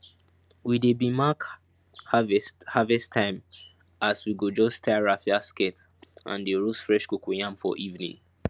we dey b mark harvest harvest timeas we go just tie raffia skirt and dey roast fresh cocoyam for evening